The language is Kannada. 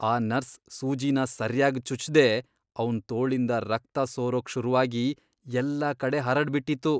ಆ ನರ್ಸ್ ಸೂಜಿನ ಸರ್ಯಾಗ್ ಚುಚ್ದೇ ಅವ್ನ್ ತೋಳಿಂದ ರಕ್ತ ಸೋರೋಕ್ ಶುರುವಾಗಿ ಎಲ್ಲಾ ಕಡೆ ಹರಡ್ಬಿಟಿತ್ತು.